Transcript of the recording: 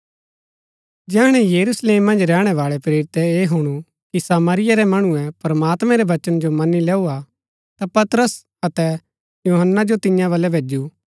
जैहणै यरूशलेम मन्ज रैहणै बाळै प्रेरितै ऐह हुणु कि सामरिया रै मणुऐ प्रमात्मैं रै वचन जो मनी लैऊआ ता पतरस अतै यूहन्‍ना जो तियां वलै भैजु